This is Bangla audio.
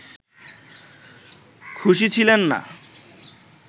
খুশি ছিলেন না